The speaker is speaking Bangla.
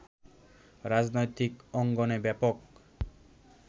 রাজনৈতিক অঙ্গনে ব্যাপক